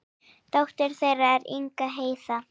Dóttir þeirra er Inga Heiða.